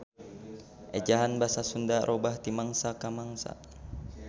Ejahan basa Sunda robah ti mangsa ka mangsa.